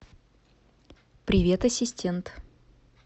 привет ассистент